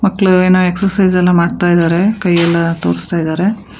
ಮಕ್ಕಳು ಏನೋ ಎಕ್ಸಸೈಜ್ ಎಲ್ಲ ಮಾಡ್ತಿ ಇದಾರೆ ಕೈಯಲ್ಲ ತೋರುಸ್ತಾ ಇದ್ದಾರೆ.